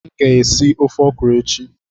M ga-esi ofe ọkwuru echi.